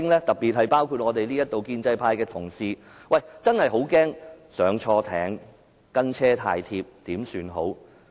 特別包括在席的建制派同事，他們真的很怕"押錯注"或"跟車太貼"，怎麼辦呢？